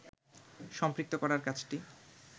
সম্পৃক্ত করার কাজটি